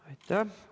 Aitäh!